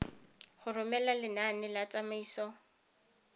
go romela lenane la tsamaiso